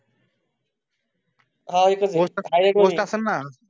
हा एक घोटाळा सांग ना.